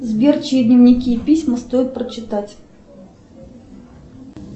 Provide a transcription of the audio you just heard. сбер чьи дневники и письма стоит прочитать